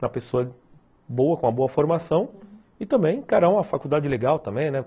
Uma pessoa boa, com uma boa formação e também encarar uma faculdade legal também, né?